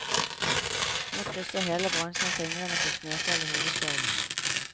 Nå krysser hele bransjen fingrene for snøfall i hovedstaden.